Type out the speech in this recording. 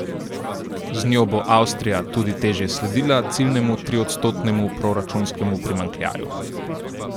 Z njo bo Avstrija tudi težje sledila ciljnemu triodstotnemu proračunskemu primanjkljaju.